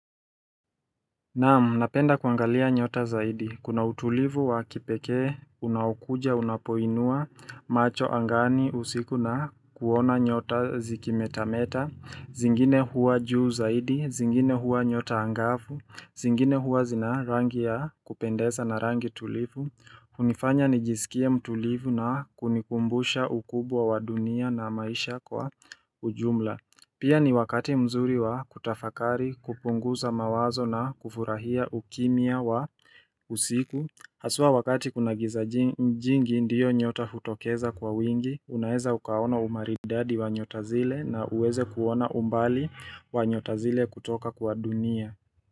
Naam, napenda kuangalia nyota zaidi. Kuna utulivu wa kipekee, unaokuja, unapoinua, macho angani, usiku na kuona nyota zikimetameta. Zingine huwa juu zaidi, zingine huwa nyota angavu, zingine huwa zina rangi ya kupendesa na rangi tulivu. Unifanya nijisikie mtulivu na kunikumbusha ukubwa wa dunia na maisha kwa ujumla. Pia ni wakati mzuri wa kutafakari kupunguza mawazo na kufurahia ukimya wa usiku Haswa wakati kuna giza jingi ndiyo nyota hutokeza kwa wingi Unaeza ukaona umaridadi wa nyota zile na uweze kuona umbali wa nyota zile kutoka kwa dunia.